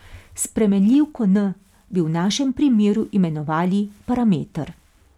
Spremenljivko n bi v našem primeru imenovali parameter.